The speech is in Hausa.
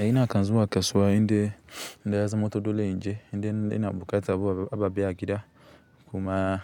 A ina kan zuwa kasuwa, inde inda yazamanto dole in je, inde ina buƙata abu ababai a gida kuma